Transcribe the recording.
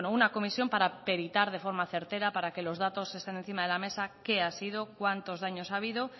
bueno una comisión para peritar de forma certera para que los datos estén encima de la mesa qué ha sido cuántos daño ha habido